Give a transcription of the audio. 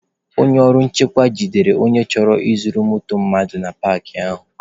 Ndị ọrụ nchekwa jidere onye chọrọ izu moto mmadụ na paakị ahụ